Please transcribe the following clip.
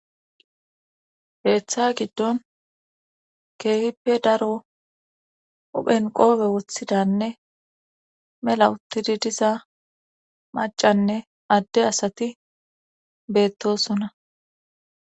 Keeththa giddon keefippe daro uphen qoobe woththidanne mela uttidi diza macanne adde asati beettosonna.